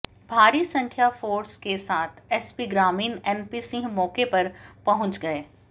भारी संख्या फोर्स के साथ एसपी ग्रामीण एनपी सिंह मौके पर पहुंच गए